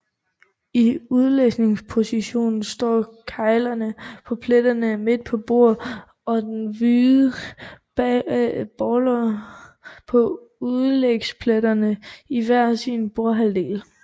I udlægspositionen står keglerne på pletterne midt på bordet og de hvide baller på udlægspletterne i hver sin bordhalvdel